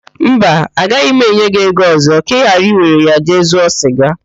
Mba, agaghị m enye gị ego ọzọ ka ị ghara iwere ya jee zụọ siga